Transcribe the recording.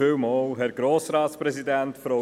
Kommissionsprecher